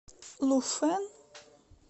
луфэн